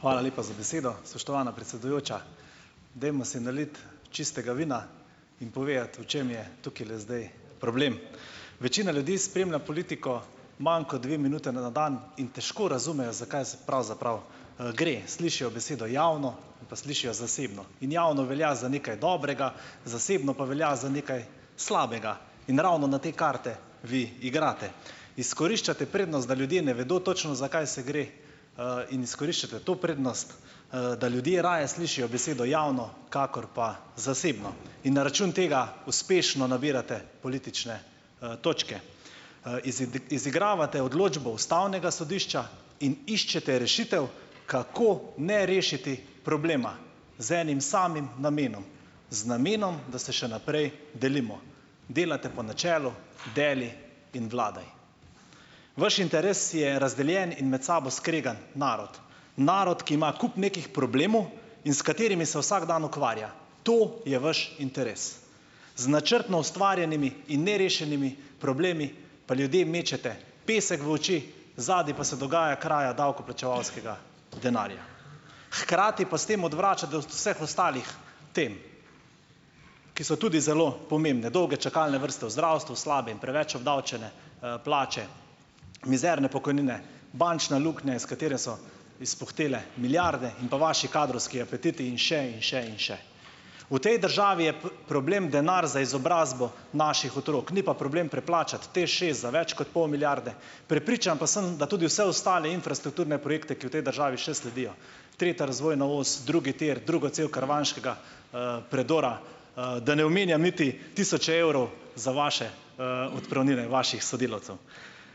Hvala lepa za besedo, spoštovana predsedujoča. Dajmo si naliti čistega vina in povedati, v čem je tukajle zdaj problem. Večina ljudi spremlja politiko manj kot dve minuti na dan in težko razumejo, za kaj se pravzaprav, gre. Slišijo besedo "javno" in pa slišijo "zasebno". In "javno" velja za nekaj dobrega, "zasebno" pa velja za nekaj slabega. In ravno na te karte vi igrate. Izkoriščate prednost, da ljudje ne vedo točno, za kaj se gre, in izkoriščate to prednost, da ljudje raje slišijo besedo "javno" kakor pa "zasebno", in na račun tega uspešno nabirate politične, točke. izigravate odločbo ustavnega sodišča in iščete rešitev, kako ne rešiti problema, z enim samim namenom - z namenom, da se še naprej delimo. Delate po načelu deli in vladaj. Vaš interes je razdeljen in med sabo skregan narod, narod, ki ima kup nekih problemov in s katerimi se vsak dan ukvarja. To je vaš interes. Z načrtno ustvarjenimi in nerešenimi problemi pa ljudem mečete pesek v oči, zadaj pa se dogaja kraja davkoplačevalskega denarja. Hkrati pa s tem odvračate od vseh ostalih tem, ki so tudi zelo pomembne, dolge čakalne vrste v zdravstvu, slabe in preveč obdavčene, plače, mizerne pokojnine, bančna luknja, iz katere so izpuhtele milijarde, in pa vaši kadrovski apetiti in še in še in še. V tej državi je problem denar za izobrazbo naših otrok, ni pa problem preplačati TEŠšest za več kot pol milijarde. Prepričan pa sem, da tudi vse ostale infrastrukturne projekte, ki v tej državi še sledijo, tretja razvojna os, drugi tir, druga cev karavanškega, predora, da ne omenjam niti tisoče evrov za vaše, odpravnine vaših sodelavcev.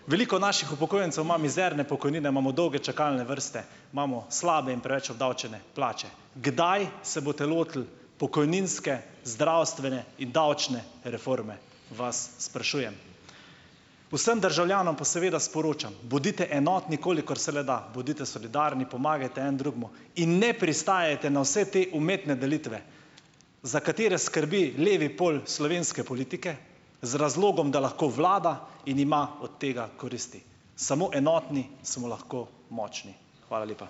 Veliko naših upokojencev ima mizerne pokojnine, imamo dolge čakalne vrste, imamo slabe in preveč obdavčene plače. Kdaj se boste lotili pokojninske, zdravstvene in davčne reforme, vas sprašujem. Vsem državljanom pa seveda sporočam, bodite enotni, kolikor se le da, bodite solidarni, pomagajte en drugemu in ne pristajajte na vse te umetne delitve, za katere skrbi levi pol slovenske politike z razlogom, da lahko vlada in ima od tega koristi. Samo enotni smo lahko močni. Hvala lepa.